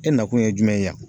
E nakun ye jumɛn ye yan.